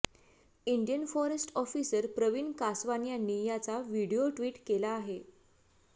Indian forest officer Praveen Kaswan यांनी याचा video tweet केला आहे